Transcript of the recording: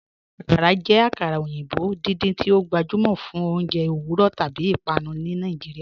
Akàrà jẹ akara oyinbo̩ dídíń tí o gbajúmọ fún ọ̀unjẹ̀ owurọ̀ tábí ìpànù ni Nàìjíríà.